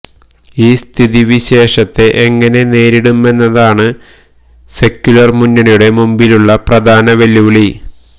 ഈ സ്ഥിതിവിശേഷത്തെ എങ്ങനെ നേരിടുമെന്നതാണ് സെക്യുലര് മുന്നണിയുടെ മുമ്പിലുള്ള പ്രധാന വെല്ലുവിളി